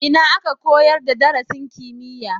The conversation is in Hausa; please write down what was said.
Ina aka koyar da darasin kimiyya?